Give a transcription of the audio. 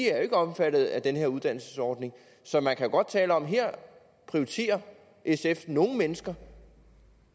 er omfattet af den her uddannelsesordning så man kan jo godt tale om at her prioriterer sf nogle mennesker